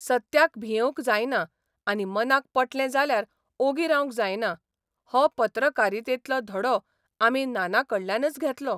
सत्याक भियेवंक जायना आनी मनाक पटलें जाल्यार ओगी रावंक जायना हो पत्रकारितेंतलो धड़ो आमी नानाकडल्यानच घेतलो.